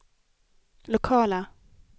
lokala